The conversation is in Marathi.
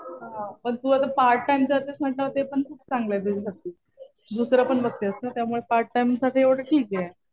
पण तू आता पार्ट टाइम करतेस म्हटल्यावर ते पण खूप चांगलं आहे तुझ्यासाठी. दुसरं पण बघतेस ना. त्यामुळे पार्ट टाइम साठी एवढं ठीक आहे.